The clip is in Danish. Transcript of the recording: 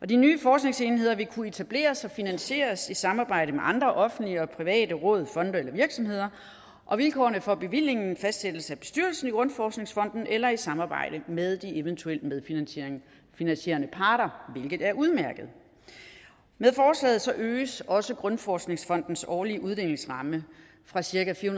de nye forskningsenheder vil kunne etableres og finansieres i samarbejde med andre offentlige og private råd fonde eller virksomheder og vilkårene for bevillingen fastsættes af bestyrelsen i danmarks grundforskningsfond eller i samarbejde med de eventuelle medfinansierende parter hvilket er udmærket med forslaget øges også danmarks grundforskningsfonds årlige uddelingsramme fra cirka fire